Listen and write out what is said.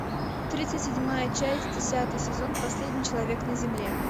тридцать седьмая часть десятый сезон последний человек на земле